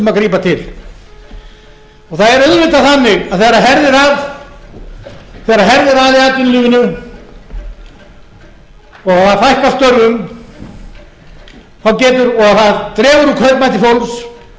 að grípa til það er auðvitað þannig að þegar herðir að í atvinnulífinu og það fækkar störfum og það dregur úr kaupmætti fólks